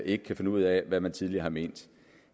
ikke kan finde ud af hvad han tidligere har ment